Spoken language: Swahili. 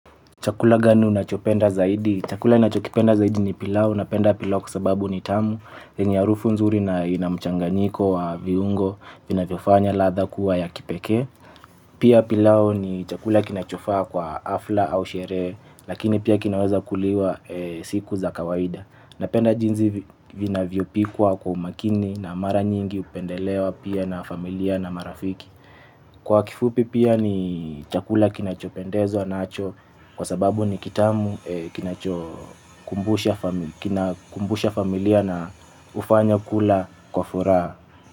Chakula gani unachopenda zaidi? Chakula nachopenda zaidi ni pilau, unapenda pilau kwa sababu ni tamu, yenye harufu nzuri na inamchanganyiko wa viungo vinavyofanya latha kuwa ya kipeke. Pia pilau ni chakula kinachofaa kwa afla au sherehe, lakini pia kinaweza kuliwa siku za kawaida. Napenda jinzi vinavyo pikwa kwa umakini na mara nyingi upendelewa pia na familia na marafiki. Kwa kifupi pia ni chakula kinachopendeza nacho kwa sababu ni kitamu kinachokumbusha familia na ufanya kula kwa furaha.